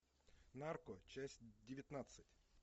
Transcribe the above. нарко часть девятнадцать